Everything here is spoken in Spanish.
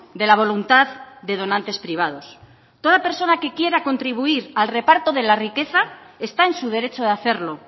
de la voluntad de donantes privados toda persona que quiera contribuir al reparto de la riqueza está en su derecho de hacerlo